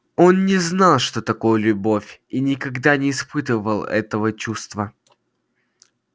он не знал что такое любовь и никогда не испытывал этого чувства